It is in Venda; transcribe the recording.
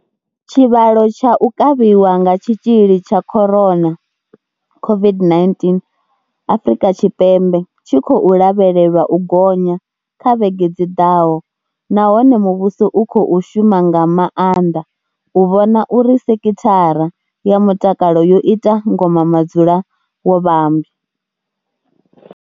Tshivhalo tsha u kavhiwa nga tshitzhili tsha corona, COVID-19 Afrika Tshipembe tshi khou lavhelelwa u gonya kha vhege dzi ḓaho nahone muvhuso u khou shuma nga maanḓa u vhona uri sekithara ya mutakalo yo ita ngoma madzulawovhamba.